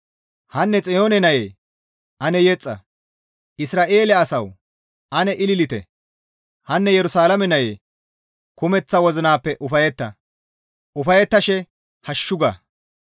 Hanne Xiyoone nayee ane yexxa! Isra7eele asawu ane ililite! Hanne Yerusalaame nayee! Kumeththa wozinappe ufayetta! Ufayettashe hashshu ga!